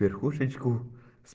верхушечку